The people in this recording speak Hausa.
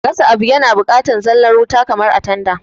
Gasa abu yana bukatan zalla wuta kamar a tanda